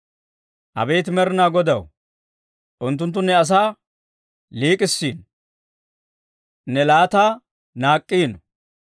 Abeet Med'inaa Godaw, unttunttu ne asaa liik'k'issiino; ne laattaa naak'k'iino.